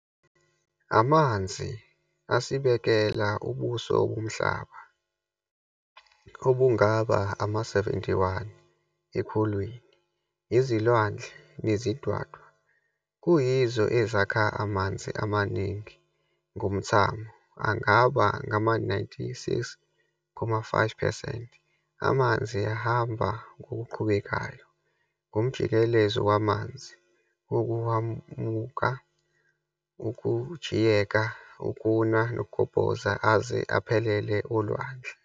Amanzi asibekela ubuso bomhlaba obungaba ama-71 ekhulwini, izilwandle nezidwadwa kuyizo ezakha amanzi amaningi ngomthamo, angaba ngama- 96.5 percent. Amanzi ahamba ngokuqhubekayo ngomjikelezo wamanzi wokuhwamuka, ukujiyeka, ukuna nokugobhoza, aze aphelele olwandle.